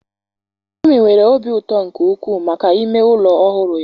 Neomi nwere obi ụtọ nke ukwuu maka ime ụlọ ọhụrụ ya.